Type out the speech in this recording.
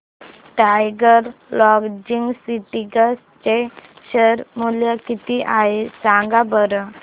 tiger Logistics चे share मूल्य किती आहे सांगा बरं